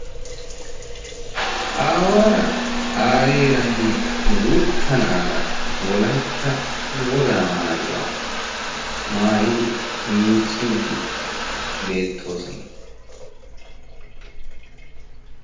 aawaara aayeeranne guutta na'aara wolaytta wogaa maayuwaa maayidi miicciiddi beettoosona.